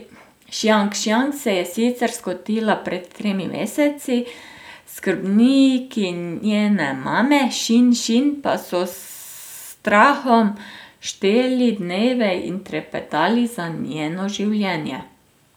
Šjang Šjang se je sicer skotila pred tremi meseci, skrbniki njene mame Šin Šin pa so s strahom šteli dneve in trepetali za njeno življenje.